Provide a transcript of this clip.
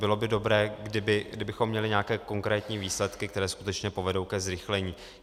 Bylo by dobré, kdybychom měli nějaké konkrétní výsledky, které skutečně povedou ke zrychlení.